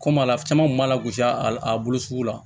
Komi a caman kun b'a la gosi a bolo sugu la